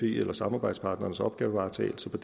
eller samarbejdspartnerens opgavevaretagelse på